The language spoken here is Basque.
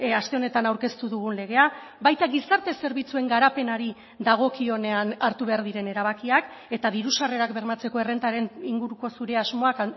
aste honetan aurkeztu dugun legea baita gizarte zerbitzuen garapenari dagokionean hartu behar diren erabakiak eta diru sarrerak bermatzeko errentaren inguruko zure asmoak